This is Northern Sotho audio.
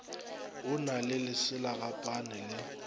o na le leselagapane le